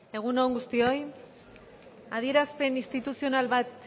egun on guztioi adierazpen instituzional bat